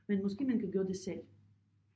Men måske man kan gøre det selv?